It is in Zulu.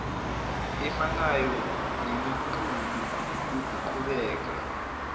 efanayo nemiqulu yokuqhubeka